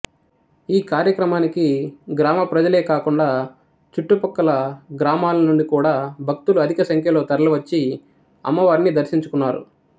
ఈ కార్యక్రమానికి గ్రామప్రజలే గాకుండా చుట్టుప్రక్కల గ్రామాలనుండి గూడా భక్తులు అధికసంఖ్యలో తరలివచ్చి అమ్మవారిని దర్శించుకున్నారు